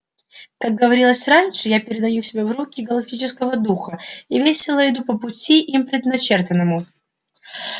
как говорилось раньше я передаю себя в руки галактического духа и весело иду по пути им предначертанному